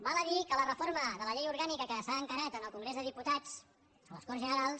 val a dir que la reforma de la llei orgànica que s’ha encarat al congrés de diputats a les corts generals